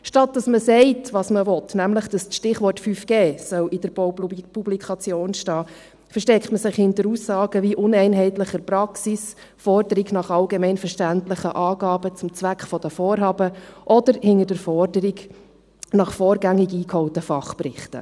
Anstatt dass man sagt, was man will – nämlich, dass das Stichwort 5G in der Baupublikation stehen soll –, versteckt man sich hinter Aussagen wie uneinheitlicher Praxis, Forderung nach allgemein verständlichen Angaben zum Zweck der Vorhaben oder hinter der Forderung nach vorgängig eingeholten Fachberichten.